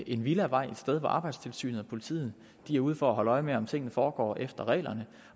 en villavej et sted hvor arbejdstilsynet og politiet er ude for at holde øje med om tingene foregår efter reglerne